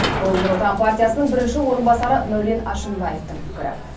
бұл нұр отан партиясының бірінші орынбасары мәулен әшімбаевтың пікірі